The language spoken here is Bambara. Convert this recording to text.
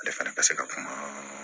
Ale fana ka se ka kuma